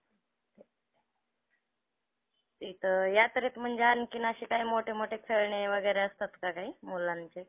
खूप मोठे लोकं invest झालेले पाहिजे, जसं की एक company स्थापन करण्यासाठी अं ती company एका व्यक्तीची नसते, तर खूप मोठ्या ज्यांनी ज्या व्यक्तींनी तिचे shares घेतलेले ए त्या पूर्ण व्यक्तींची असते. त्यामुळं